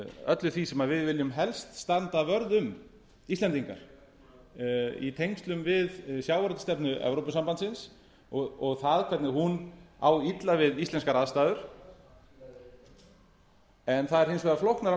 öllu því sem við viljum helst standa vörð um íslendingar í tengslum við sjávarútvegsstefnu evrópusambandsins og það hvernig hún á illa við íslenskar aðstæður en það er hins vegar flóknara